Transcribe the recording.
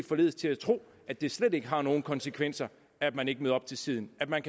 forledes til at tro at det slet ikke har nogen konsekvenser at man ikke møder op til tiden at man